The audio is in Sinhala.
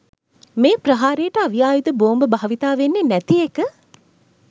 මේ ප්‍රහාරයට අවි ආයුධ බෝම්බ භාවිතා වෙන්නේ නැති එක.